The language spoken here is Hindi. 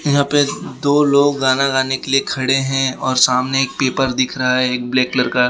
यहां पे दो लोग गाना गाने के लिए खड़े हैं और सामने एक पेपर दिख रहा है एक ब्लैक कलर का।